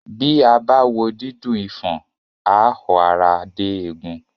Bí a bá wo dídùn ifọ̀n, àá họ ara dé egun